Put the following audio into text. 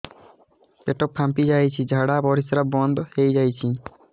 ପେଟ ଫାମ୍ପି ଯାଇଛି ଝାଡ଼ା ପରିସ୍ରା ବନ୍ଦ ହେଇଯାଇଛି